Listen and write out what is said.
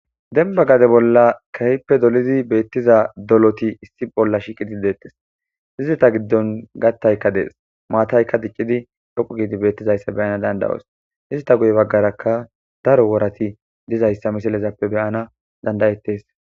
Dembba gade bolla keehippe dolidi beettiza doloti issi bolla shiiqettides. Izeta giddon kattaaykka dees. Maataykka diccidi dhoqqu giidi beettizayssa be'anas danda'os. Ista guye baggarakka daro worati dizayssa misilezappe be'ana danda'ettes.